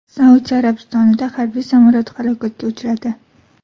Saudiya Arabistonida harbiy samolyot halokatga uchradi.